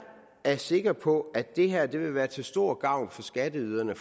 er sikker på at det her vil være til stor gavn for skatteyderne